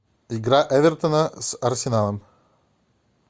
игра эвертона с арсеналом